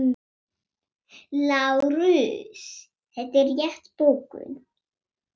LÁRUS: Þetta er rétt bókun.